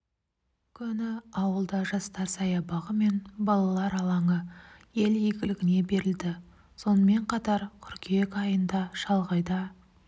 күні ауылда жастар саябағы мен балалар алаңы ел игілігіне берілді сонымен қатар қыркүйек айында шалғайда